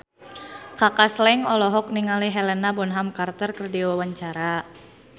Kaka Slank olohok ningali Helena Bonham Carter keur diwawancara